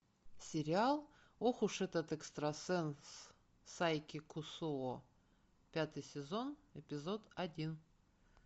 сериал ох уж этот экстрасенс сайки кусуо пятый сезон эпизод один